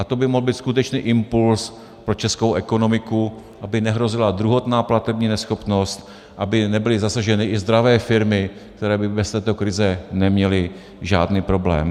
A to by mohl být skutečný impuls pro českou ekonomiku, aby nehrozila druhotná platební neschopnost, aby nebyly zasaženy i zdravé firmy, které by bez této krize neměly žádný problém.